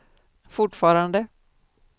fortfarande